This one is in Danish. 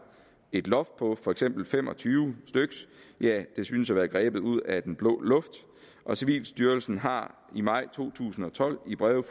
et loft på for eksempel fem og tyve synes at være grebet ud af den blå luft og civilstyrelsen har i maj to tusind og tolv i breve